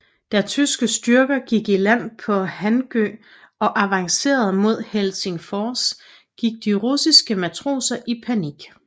Da tyske styrker gik i land på Hangö og avancerede mod Helsingfors gik de russiske matroser i panik